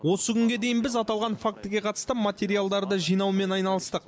осы күнге дейін біз аталған фактіге қатысты материалдарды жинаумен айналыстық